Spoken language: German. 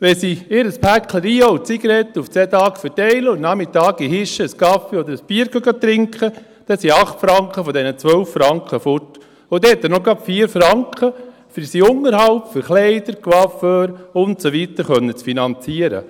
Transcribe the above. Wenn sie ihre Päckchen Rio und Zigaretten auf 2 Tage verteilen und am Nachmittag im Hirschen einen Kaffee oder ein Bier trinken, dann sind 8 Franken von diesen 12 Franken weg, und dann hat er noch gerade 4 Franken für seinen Unterhalt, um Kleider, Coiffeur und so weiter, finanzieren zu können.